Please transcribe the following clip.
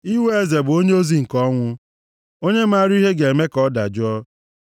Iwe eze bụ onyeozi nke ọnwụ. Onye maara ihe ga-eme ka ọ dajụọ.